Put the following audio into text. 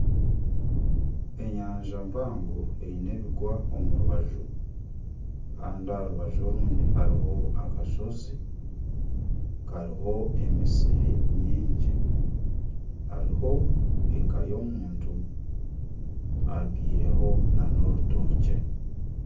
Enyanja mpango eine ebigwa omu rubaju, kandi aha rubaju orundi hariho akashozi kariho emisiri nyingi. Hariho eka y'omuntu. Abyaireho n'orutookye.